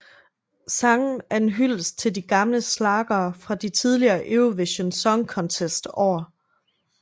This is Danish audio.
Sangen er en hyldest til de gamle schlagere fra de tidligere Eurovision Song Contest år